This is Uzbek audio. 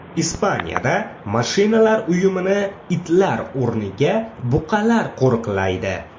Ispaniyada mashinalar uyumini itlar o‘rniga buqalar qo‘riqlaydi.